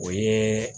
O ye